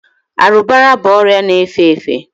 arụbara bụ ọrịa na-efe efe